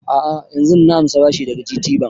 A'a yanzun nan na ansa bashi daga GTbank